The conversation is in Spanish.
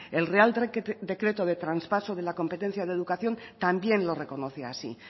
el real decreto de traspaso de la competencia de educación también lo reconoce así